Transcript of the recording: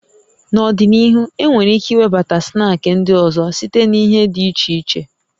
N'ọdịnihu, enwere ike iwebata snaakị ndị ọzọ site na ihe dị iche iche